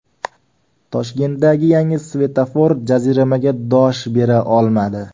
Toshkentdagi yangi svetofor jaziramaga dosh bera olmadi.